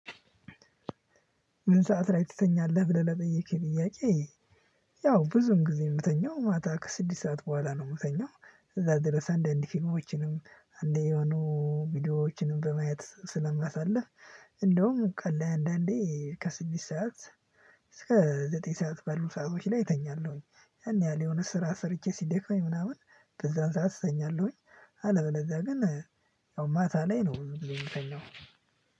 ምን ሰዓት ላይ ትተኛለህ ብለህ ለጠየከኝ ጥያቄ? ያው ብዙም ጊዜ የምተኛው ማታ ከስድስት ሰዓት በኋላ ነው የምተኛው። እዛ ድረስ አንዳንድ ፊልሞችንም አንዴ የሆኑ ቪዲዮዎችንም በማየት ስለማሳልፍ። እንዲሁም ቀን ላይ አንዳንዴ ከስድስት ሰዓት እስከ ዘጠኝ ሰዓት ባሉ ሰአቶች ላይ እተኛለው። እና የሆነ ስራ ሰርቼ ስደክመኝ እተኛለው። አለበለዚያ ግን አሁን ማታ ላይ ነው ምታኛው ብዙ ጊዜ።